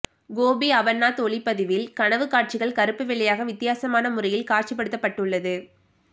கோபி அமர்நாத் ஒளிப்பதிவில் கனவுக் காட்சிகள் கருப்பு வெள்ளையாக வித்தியாசமான முறையில் காட்சிப்படுத்தப்பட்டுள்ளது